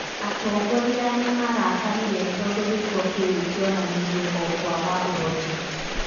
Atongoria nĩmarakarire tondũ gĩĩko kĩu kĩonanirie o kwaga ũhoti